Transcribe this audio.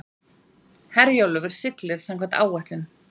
Herjólfur siglir samkvæmt áætlun